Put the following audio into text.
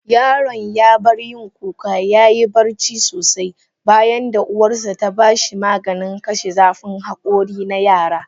Yaron ya bar yin kuka yayi barci sosai, bayanda uwarsa ta ba shi maganin kashe zafin hakori na yara.